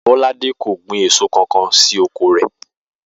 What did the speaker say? Bó̩ládé kò gbin èso kankan sí oko rè̩